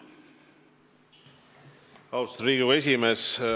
Austatud Riigikogu esimees!